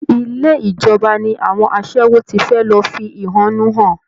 Ilé ìjọba ni àwọn aṣẹ́wó ti fẹ́ lọ fi ẹ̀hónú hàn